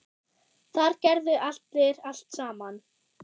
Þar gerðu allir allt saman.